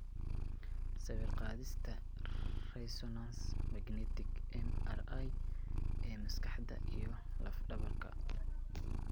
Sawir-qaadista resonance magnetic (MRI) ee maskaxda iyo lafdhabarta.